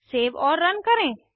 save और run करें